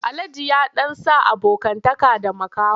Alhaji ya ɗan sa abokantaka da makaho.